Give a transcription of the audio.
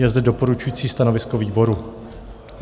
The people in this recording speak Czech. Je zde doporučující stanovisko výboru.